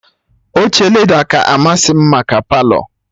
Oche leda ka amasị m maka Palọ